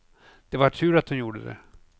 Det var tur att hon gjorde det.